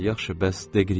Yaxşı, bəs Deqriye?